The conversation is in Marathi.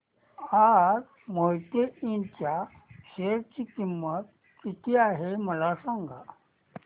आज मोहिते इंड च्या शेअर ची किंमत किती आहे मला सांगा